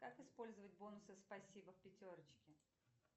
как использовать бонусы спасибо в пятерочке